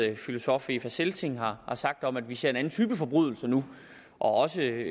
det filosof eva selsing har sagt om at vi ser en anden type forbrydelser nu og også